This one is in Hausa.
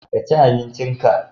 ka ci abincin ka!